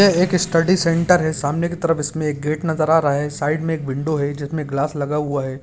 यह एक study centre है सामने की तरफ इसमें एक गेट नजर आ रहा है साइड में एक विंडो है जिसमें ग्लास लगा हुआ है।